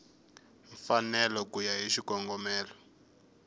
mfanelo ku ya hi xikongomelo